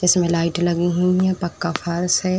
इसमें लाइट लगी हुई हैं पक्का फर्श है।